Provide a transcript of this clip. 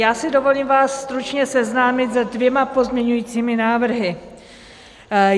Já si dovolím vás stručně seznámit se dvěma pozměňovacími návrhy.